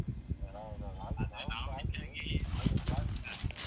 ಆ ಹೌದ್ ಹೌದ್ ಹಾಗೆ ನಾವ್ ಕೂಡ ಹಾಗೆಯೇ.